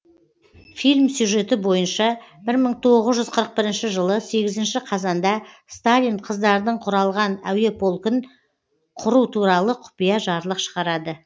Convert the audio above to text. фильм сюжеті бойынша бір мың тоғыз жүз қырық бірінші жылы сегізінші қазанда сталин қыздардын құралған әуе полкін құру туралы құпия жарлық шығарады